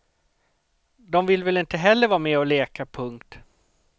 Dom vill väl inte heller vara med och leka. punkt